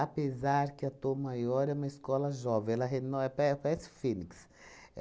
Apesar que a Tom Maior é uma escola jovem, ela reno pa parece fênix.